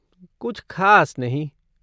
कुछ खास नहीं।